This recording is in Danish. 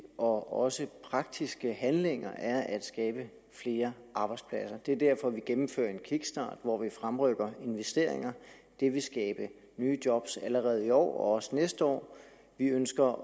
og også praktiske handlinger er at skabe flere arbejdspladser det er derfor at vi gennemfører en kickstart hvor vi fremrykker investeringer det vil skabe nye job allerede i år og også næste år vi ønsker